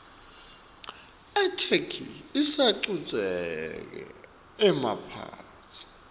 itheksthi isacuketse emaphutsa